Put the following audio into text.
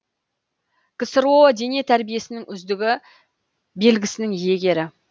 ксро дене тәрбиесінің үздігі белгісінің иегері